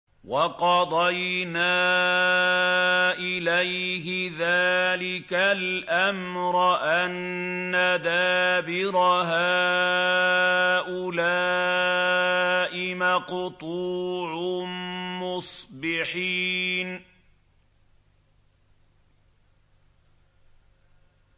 وَقَضَيْنَا إِلَيْهِ ذَٰلِكَ الْأَمْرَ أَنَّ دَابِرَ هَٰؤُلَاءِ مَقْطُوعٌ مُّصْبِحِينَ